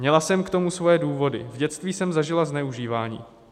Měla jsem k tomu své důvody, v dětství jsem zažila zneužívání.